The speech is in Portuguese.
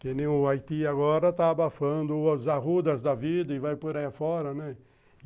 Que nem o Haiti agora está abafando os arrudas da vida e vai por aí fora, né?